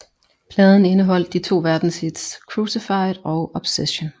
Pladen indeholdt de to verdenshits Crucified og Obsession